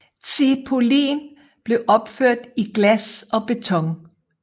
Tsipulin blev opført i glas og beton